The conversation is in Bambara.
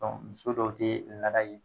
muso dɔw tɛ laada ye